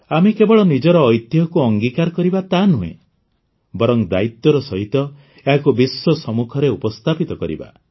ଆମେ କେବଳ ନିଜର ଐତିହ୍ୟକୁ ଅଙ୍ଗୀକାର କରିବା ତାହା ନୁହେଁ ବରଂ ଦାୟିତ୍ୱର ସହିତ ଏହାକୁ ବିଶ୍ୱ ସମ୍ମୁଖରେ ଉପସ୍ଥାପିତ କରିବା